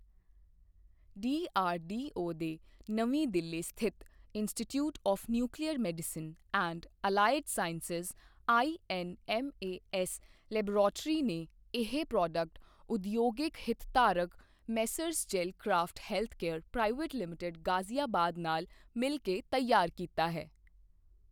DRDO ਦੇ ਨਵੀਂ ਦਿੱਲੀ ਸਥਿਤ institute of nuclear medicine and allied sciences INMAS laboratory ਨੇ ਇਹ ਪ੍ਰੋਡਕਟ ਉਦਯੋਗਿਕ ਹਿਤਧਾਰਕ messrs gel craft healthcare private limited Ghaziabad ਨਾਲ ਮਿਲ ਕੇ ਤਿਆਰ ਕੀਤਾ ਹੈ।